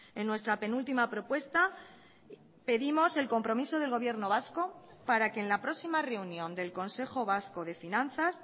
en nuestra penúltima propuesta pedimos el compromiso del gobierno vasco para que en la próxima reunión del consejo vasco de finanzas